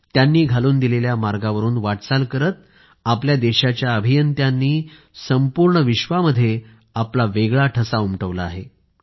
त्यांनी घालून दिलेल्या मार्गावरून वाटचाल करीत आपल्या देशाच्या अभियंत्यांनी संपूर्ण विश्वामध्ये आपला वेगळा ठसा उमटवला आहे